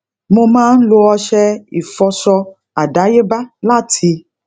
mo máa ń lo ọṣẹ ìfọṣọ adayeba láti